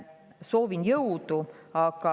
Soovin jõudu!